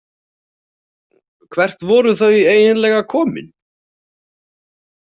Hvert voru þau eiginlega komin?